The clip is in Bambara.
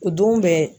O don bɛɛ